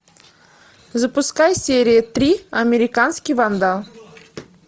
запускай серия три американский вандал